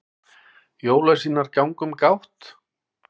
jólasveinar ganga um gátt